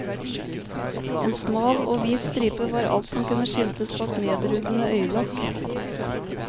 En smal og hvit stripe var alt som kunne skimtes bak nedrullede øyelokk.